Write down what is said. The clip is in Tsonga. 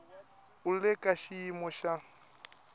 u le ka xiyimo xa